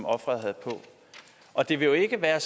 ofret havde på og det vil jo ikke være